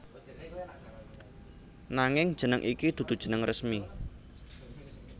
Nanging jeneng iki dudu jeneng resmi